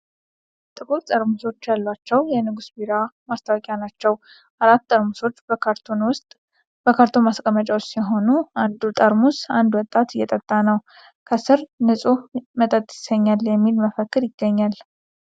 ጥቁር ጠርሙሶች ያለው የ"ንጉሥ" ቢራ ማስታወቂያ ነው። አራት ጠርሙሶች በካርቶን ማስቀመጫ ውስጥ ሲሆኑ፣ አንዱን ጠርሙስ አንድ ወጣት እየጠጣ ነው። ከሥር "ንጹሕ መጠጥ ያሰኛል" የሚል መፈክር ይገኛል።